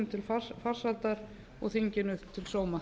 til farsældar og þinginu til sóma